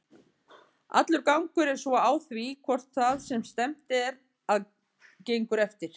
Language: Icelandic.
Allur gangur er svo á því hvort það sem stefnt er að gengur eftir.